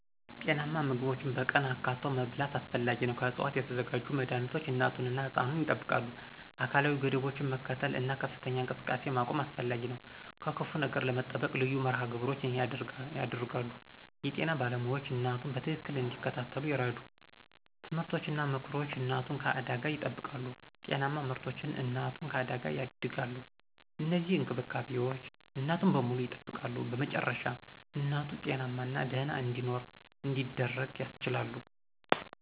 ጤናማ ምግቦችን በቀን አካትቶ መብላት አስፈላጊ ነው። ከዕፅዋት የተዘጋጁ መድኃኒቶች እናቱን እና ሕፃኑን ያጠብቃሉ። አካላዊ ገደቦችን መከተል እና ከፍተኛ እንቅስቃሴ መቆም አስፈላጊ ነው። ከክፉ ነገር ለመጠበቅ ልዩ መርሃ ግብሮች ይደረጋሉ። የጤና ባለሞያዎች እናቱን በትክክል እንዲከታተሉ ይረዱ። ትምህርቶች እና ምክሮች እናቱን ከአደጋ ይጠብቃሉ። ጤናማ ምርቶች እናቱን ከአደጋ ያደጋሉ። እነዚህ እንክብካቤዎች እናቱን በሙሉ ያጠብቃሉ። በመጨረሻ እናቱ ጤናማና ደህና እንዲኖር እንዲደረግ ያስችላሉ።